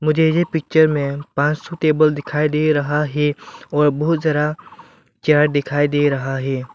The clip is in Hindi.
मुझे ये पिक्चर में पांच सौ टेबल दिखाई दे रहा है और बहुत सारा चेयर दिखाई दे रहा है।